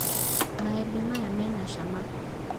Maembe maya mena cama